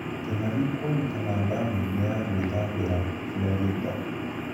Kĩng'ang'i kuonekana damu-inĩ ya gwĩthambĩra Florida.